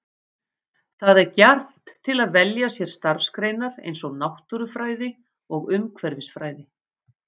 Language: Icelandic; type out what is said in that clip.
Það er gjarnt til að velja sér starfsgreinar eins og náttúrufræði og umhverfisfræði.